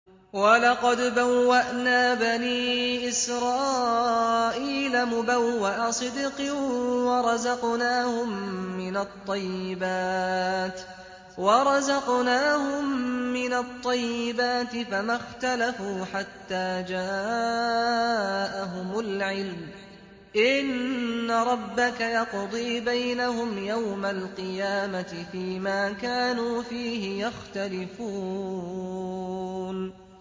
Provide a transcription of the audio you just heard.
وَلَقَدْ بَوَّأْنَا بَنِي إِسْرَائِيلَ مُبَوَّأَ صِدْقٍ وَرَزَقْنَاهُم مِّنَ الطَّيِّبَاتِ فَمَا اخْتَلَفُوا حَتَّىٰ جَاءَهُمُ الْعِلْمُ ۚ إِنَّ رَبَّكَ يَقْضِي بَيْنَهُمْ يَوْمَ الْقِيَامَةِ فِيمَا كَانُوا فِيهِ يَخْتَلِفُونَ